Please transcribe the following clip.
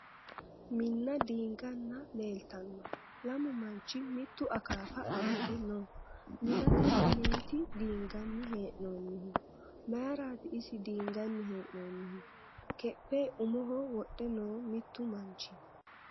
Minna diinganna leeltanno. Lamu manchi mittu akaafa amade no. Minnate mineeti diinganni hee'noonnihu. Mayiraati isi diinganni hee'noonnihu keppe umoho wodhe no mittu manchi.